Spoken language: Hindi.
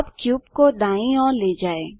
अब क्यूब को दाईँ ओर ले जाएँ